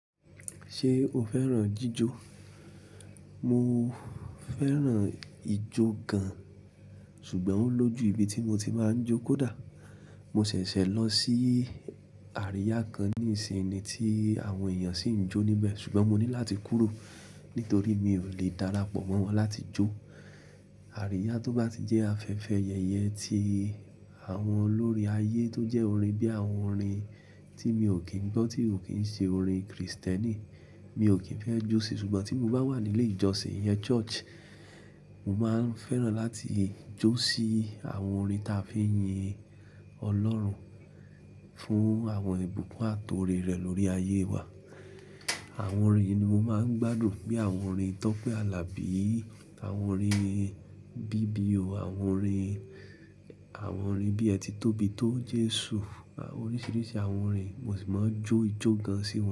Ṣé o fẹ́ràn lati ma jó? Mo fẹ́ràn ijó gan, ṣùgbọ́n ó lójú ibi tí mo ti máa ń jó kó dà. Mo ṣẹ̀ṣẹ̀ lọ sí àríyá kan ní ìsìn ni tí àwọn èèyàn sì ń jó níbẹ̀ ṣùgbọ́n mo ní láti kúrò nítorí mi ò lè darapọ̀ mọ́ wọn láti jó. Àríyá tó bá ti jẹ́ afẹ́fẹ́ yẹ̀yẹ́ ti àwọn olórín ayé tó jẹ́ orin bí i àwọn orin tí mi ò kí ń gbọ́ tí ò kí ń ṣe orin Kristẹni, mi ò kí ń fẹ́ jó síi ṣùgbọ́n tí mo bá wà nílé ìjọsìn ìyẹn ile ijosin mo máa ń fẹ́ràn láti jó sí àwọn orin táa fi ń yin Ọlọ́run fún àwọn ìbùkún àti oore rẹ̀ lórí ayé wà. Àwọn orin yi ni mo máa ń gbádùn bí i àwọn orin Tọ́pẹ́ Alabi, àwọn orin bíbí o àwọn orin, àwọn orin bí ẹ ti tóbi tó Jesu oríṣìíríṣìí àwọn orin mo sì máa ń jó ijó gan sí wọn.